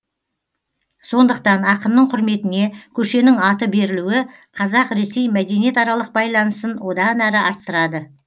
сондықтан ақынның құрметіне көшенің аты берілуі қазақ ресей мәдениетаралық байланысын одан әрі арттырады